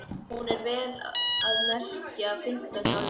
Og hún er, vel að merkja, fimmtán í alvöru.